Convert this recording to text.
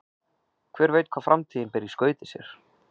Hver veit hvað framtíðin ber í skauti sér?